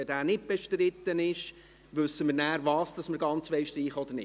Denn wenn er nicht bestritten ist, wissen wir, was wir ganz streichen wollen oder nicht.